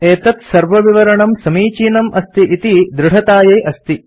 एतत् सर्वविवरणं समीचीनम् अस्ति इति दृढतायै अस्ति